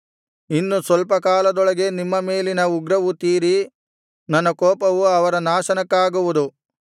ಇನ್ನು ಸ್ವಲ್ಪ ಕಾಲದೊಳಗೆ ನಿಮ್ಮ ಮೇಲಿನ ಉಗ್ರವು ತೀರಿ ನನ್ನ ಕೋಪವು ಅವರ ನಾಶನಕ್ಕಾಗುವುದು